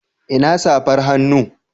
Ina safar hannu?